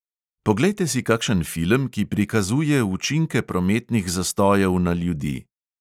Poglejte si kakšen film, ki prikazuje učinke prometnih zastojev na ljudi.